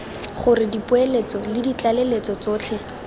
gore dipoeletso le ditlaleletso tsotlhe